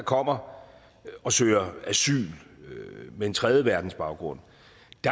kommer og søger asyl med en tredjeverdensbaggrund